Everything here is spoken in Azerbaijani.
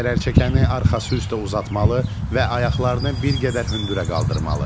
Zərərçəkəni arxası üstə uzatmalı və ayaqlarını bir qədər hündürə qaldırmalı.